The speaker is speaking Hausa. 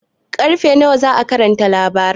Ƙarfe nawa za'a karanta labaran?